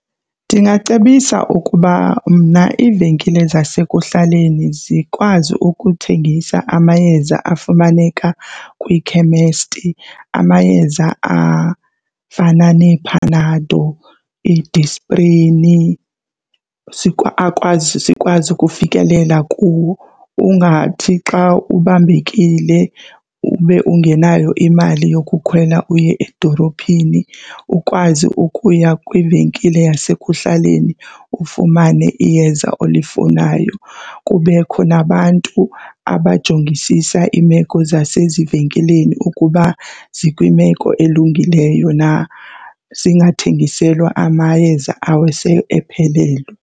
Ndingacebisa ukuba mna iivenkile zasekuhlaleni zikwazi ukuthengisa amayeza afumaneka kwiikhemesti, amayeza afana neePanado iiDisprini akwazi sikwazi ukufikelela kuwo. Ungathi xa ubambekile ube ungenayo imali yokukhwela uye edolophini ukwazi ukuya kwivenkile yasekuhlaleni ufumane iyeza olifunayo. Kubekho nabantu abajongisisa imeko zasezivenkileni ukuba zikwimeko elungileyo na, singathengiselwa amayeza awasephelelwe.